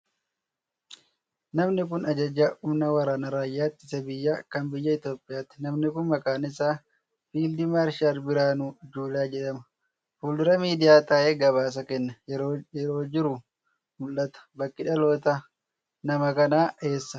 Namni kun, ajajaa humna waraanaa raayyaa ittisa biyyaa kan biyya Itoophiyaati. Namni kun, maqaan isaa Fiild Maarshaal Birhaanuu Juulaa jedhama. Fuuldura miidiyaa taa'ee gabaasa kennaa yeroo jiru mul'ata. Bakki dhalootaa nama kanaa eessa?